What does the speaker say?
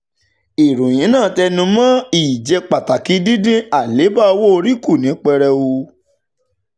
ìròyìn náà tún tẹnu mọ́ ìjẹ́pàtàkì dídín àléèbá owó orí kù ní pẹrẹu.